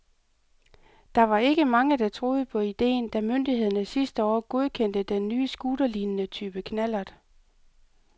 Der var ikke mange, der troede på ideen, da myndighederne sidste år godkendte den nye scooterlignende type knallert.